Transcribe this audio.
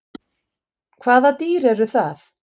Hvaða dýr eru það?